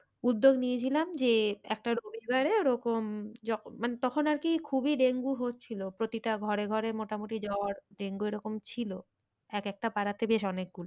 উদ্যোগ নিয়েছিলাম যে একটা রবিবারে ওরকম মানে তখন আর কি খুবই ডেঙ্গু হচ্ছিলো প্রতিটা ঘরে ঘরে মোটামুটি জ্বর ডেঙ্গু এরকম ছিল। এক একটা পাড়াতে বেশ অনেক